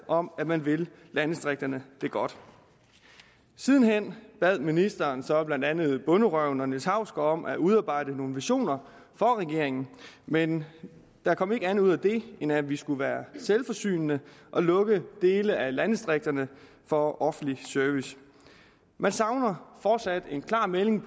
om at man vil landdistrikterne det godt siden hen bad ministeren så blandt andet bonderøven og niels hausgaard om at udarbejde nogle visioner for regeringen men der kom ikke andet ud af det end at vi skulle være selvforsynende og lukke dele af landdistrikterne for offentlig service man savner fortsat en klar melding